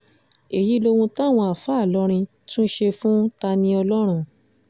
èyí lohun táwọn àáfàá ìlọrin tún ṣe fún ta-ni-olóhùn